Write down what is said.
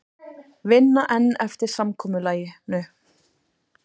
Vinna enn eftir samkomulaginu